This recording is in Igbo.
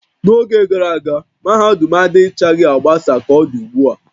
N'oge gara aga, mahadum adịchaghị agbasa ka ọ dị ugbu a